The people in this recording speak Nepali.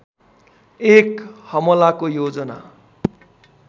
एक हमलाको योजना